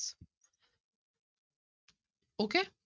Okay